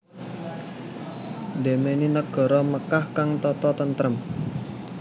Dhemi negara Mekkah kang tata tentrem